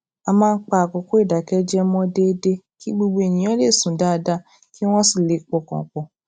a máa ń pa àkókò ìdákéjẹẹ mọ déédéé kí gbogbo ènìyàn lè sùn dáadáa kí wón sì lè pọkàn pò